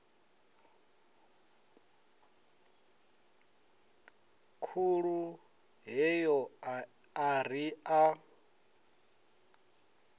khulu heyo a ri a